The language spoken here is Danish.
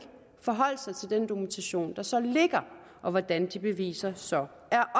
forholdt sig til den dokumentation der så ligger og hvordan de beviser så